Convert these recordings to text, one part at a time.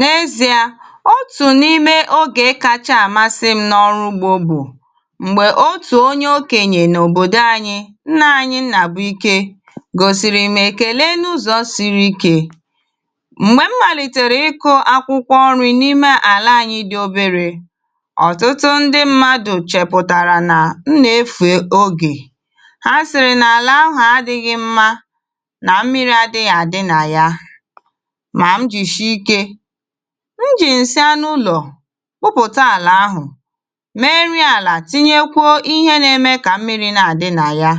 N’ezi̇a, otù n’ime ogè kacha àmasị m n’ọrụ ugbọ bụ m̀gbè otù onye okenyè n’òbòdò anyị, nna anyị Nnàbụike, gosiri m ekele n’ụzọ siri ikę. M̀gbè m màlìtèrè ịkụ akwụkwọ nri n’ime àlà anyị dị obere, ọ̀tụtụ ndị mmadụ chępụtàrà nà m nà-efe ogè; ha siri n’àlà ahụ adịghị mma nà mmiri adịghị àdị nà ya, ma m jishike njì ǹsị ánà úlọ kpụpụta àlà ahụ mèe nri àlà, tinyekwuo ihe na-eme kà mmiri na-àdị nà ya,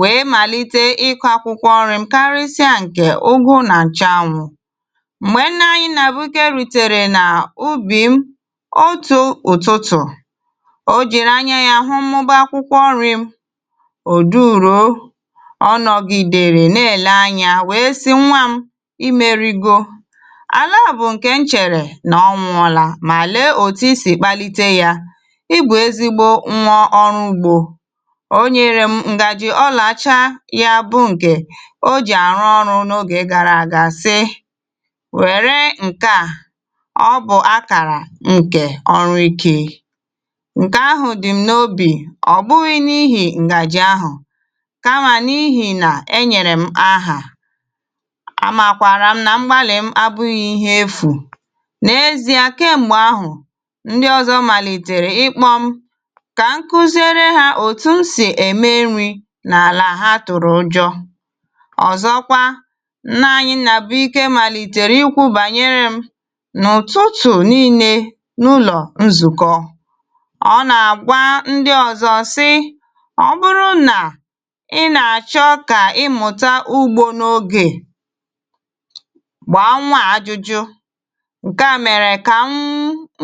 wèe màlite ịkụ akwụkwọ nrị m kari sịa ǹkè ugu nà ǹchanwu. M̀gbè nna anyị Nnàbụike rùtèrè nà ubì m otù ụtụtụ, o jìri anya ya hụ mmụba akwụkwọ nrị m; ò duruo, ọ nọgịdèrè na-èle anya wèe si, nwa m, imerigo, àlà bụ ǹkè nchèrè nà ọnwụ ọla, mà lèe òtù isì kpalite yȧ; i bù ezigbo nwa ọrụ ugbọ. Ọ nyere m ǹgàjị ọlà ọchaa ya bụ nkè ọ jì àrụ ọrụ n’ogè gara aga sị wère ǹke a; ọ bụ akàrà ǹkè ọrụ ike. Ǹkè ahụ dìm n’obì, ọ bụghị n’ihì ǹgàjị ahụ kama n’ihì nà enyèrè m ahà, amakwara m na mgbali m abụghị ihe efụ. Nà-ezì à, kèm̀gbè ahụ, ndị ọzọ màlìtèrè ikpọm kà nkuzere ha òtù nsị ème nri n’àlà ha tụrụ njọ. Ọzọkwa, nna anyị Nnàbụike màlìtèrè ikwu bànyere m n’ụtụtụ nille n’ụlọ nzùkọ; ọ nà àgwa ndị ọzọ si, ọ bụrụ nà ị nà-àchọ kà ịmụta ugbọ n’ogè, gbaa nwa ajụjụ, ǹkè a mèrè kà m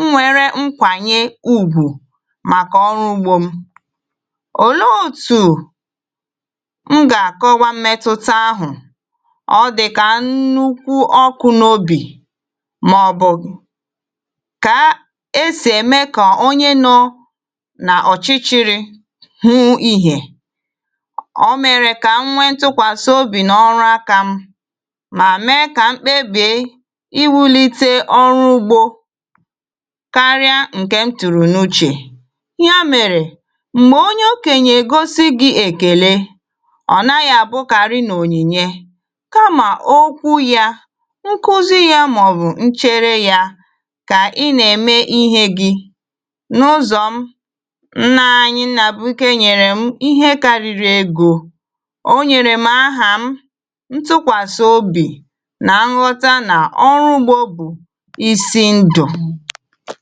nwere nkwànyę ùgwù màkà ọrụ ugbọ m. Òle otù m gà-àkọ kwa mmetụta ahụ? Ọ dị kà nnukwu ọkụ n’obì mà ọ bụ kà esì ème kà onye nọ nà ọchịchịrị hụ ihè; ọ mèrè kà m nwentukwàsị obì n’ọrụ aka m mà mee kà mkpebè iwulite ọrụ ugbọ karịa ǹkè m tùrùnùchè. Ya mèrè m̀gbè onye okenyè gosi gị èkèle, ọ naghị àbụkarị n’ònyìnye, kama okwu ya, nkụzi ya mà ọ bụ nchere ya kà ị nà-ème ihe gị n’ụzọ m. Nna anyị Nnàbụike nyèrè m ihe karịrị egọ; o nyèrè m ahà m, ntụkwàsị obì, na nghota na ọrụ ugbọ bụ isi ndụ.